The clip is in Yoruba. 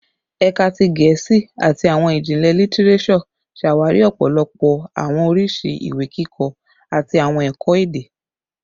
Ẹka ti Gẹẹsi ati Awọn Ijinlẹ Litireso ṣawari ọpọlọpọ awọn oriṣi iwe-kikọ ati awọn ẹkọ-ede